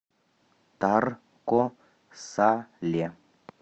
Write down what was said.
тарко сале